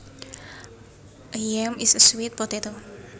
A yam is a sweet potato